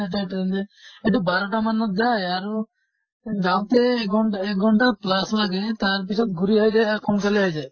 train দি এইটো বাৰʼটা মানত যায় আৰু যাওঁতে এঘন্টা এঘন্টা plus লাগে তাৰ পিছত ঘুৰি আহি যায় অ সোনকালে আহি যায়